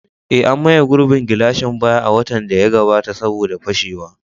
Eh, an maye gurbin gilashin baya a watan da ya gabata saboda fashewa.